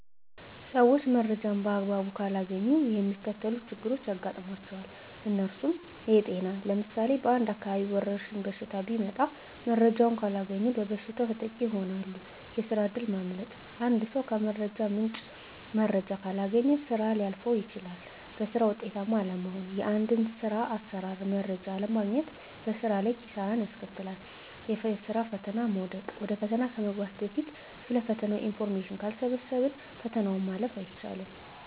ሰዊች መረጃን በአግባቡ ካላገኙ የሚከተሉት ችግሮች ያጋጥሟቸዋል። እነርሱም -የጤና ለምሳሌ በአንድ አካባቢ ወረድሽኝ በሽታ ቢመጣ መረጃውን ካላገኙ በበሽታው ተጠቂ ይሆናሉ፤ የስራ እድል ማምለጥ -አንድ ሰው ከመረጃ ምንጭ መረጃ ካላገኘ ስራ ሊያልፈው ይችላል፤ በስራ ውጤታማ አለመሆን -የአንድን ስር አሰራር መረጃ አለማግኘት በስራ ላይ ኪሳራን ያስከትላል፤ የስራ ፈተና ላይ መውደቅ -ወደ ፈተና ከመግባት በፊት ስለ ፈተናው ኢንፎርሜሽን ካልሰበሰብን ፈተናውን ማለፍ አይቻልም።